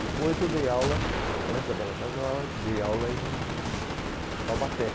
Depois eu dei aula, antes da Belas Artes, eu dei aula em Taubaté.